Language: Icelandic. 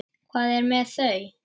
Hvað er með þau?